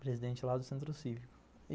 Presidente lá do Centro Cívico.